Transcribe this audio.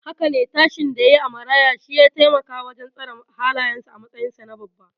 Haka ne, tashin da yayi a maraya shiya taimaka wajen tsara halayensa a matsayinsa na babba.